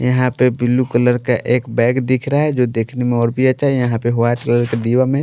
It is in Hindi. यहाँ पे ब्लू कलर का एक बैग दिख रहा है जो देखने में और भी अच्छा है यहाँ पे वाइट कलर का डीवा में --